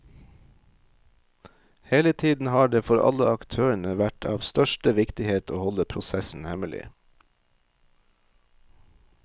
Hele tiden har det, for alle aktørene, vært av største viktighet å holde prosessen hemmelig.